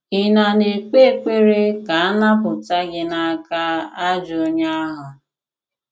Ị̀ na na - ekpe ekpere ka a napụta gị n’aka “ ajọ onye ahụ ”?